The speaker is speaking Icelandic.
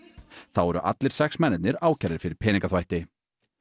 þá eru allir sex mennirnir ákærðir fyrir peningaþvætti